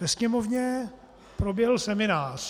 Ve Sněmovně proběhl seminář.